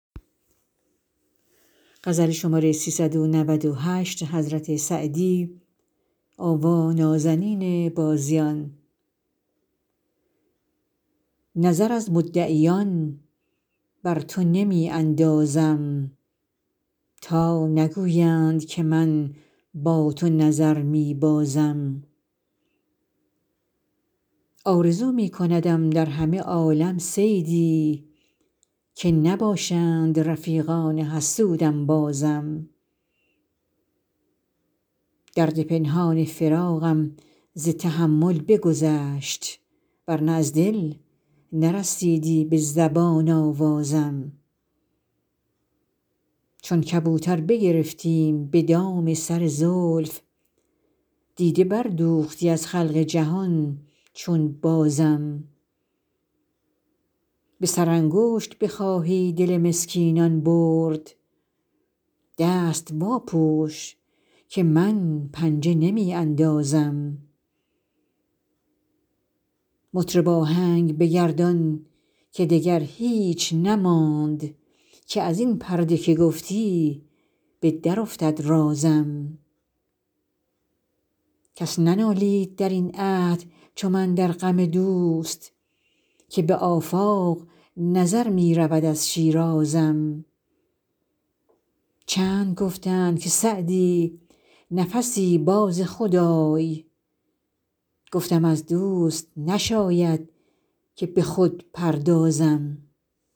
نظر از مدعیان بر تو نمی اندازم تا نگویند که من با تو نظر می بازم آرزو می کندم در همه عالم صیدی که نباشند رفیقان حسود انبازم درد پنهان فراقم ز تحمل بگذشت ور نه از دل نرسیدی به زبان آوازم چون کبوتر بگرفتیم به دام سر زلف دیده بردوختی از خلق جهان چون بازم به سرانگشت بخواهی دل مسکینان برد دست واپوش که من پنجه نمی اندازم مطرب آهنگ بگردان که دگر هیچ نماند که از این پرده که گفتی به درافتد رازم کس ننالید در این عهد چو من در غم دوست که به آفاق نظر می رود از شیرازم چند گفتند که سعدی نفسی باز خود آی گفتم از دوست نشاید که به خود پردازم